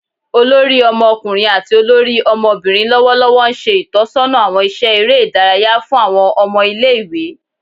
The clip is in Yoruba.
olori Ọmọkunrin ati olori ọmọbirin lọwọlọwọ nṣe itọsọna awọn iṣẹ ere idaraya fun awọn ọmọ ile-iwe